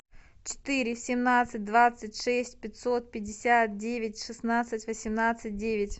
четыре семнадцать двадцать шесть пятьсот пятьдесят девять шестнадцать восемнадцать девять